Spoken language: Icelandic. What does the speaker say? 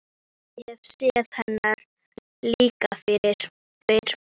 Ég hef séð hennar líka fyrr.